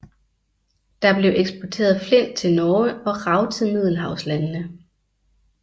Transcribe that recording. Der blev eksporteret flint til Norge og rav til middelhavslandene